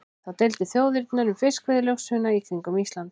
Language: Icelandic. Þá deildu þjóðirnar um fiskveiðilögsöguna í kringum Ísland.